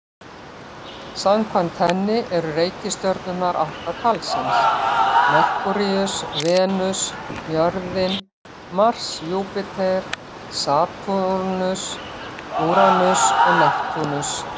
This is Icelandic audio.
Samkvæmt henni eru reikistjörnurnar átta talsins: Merkúríus, Venus, jörðin, Mars, Júpíter, Satúrnus, Úranus og Neptúnus.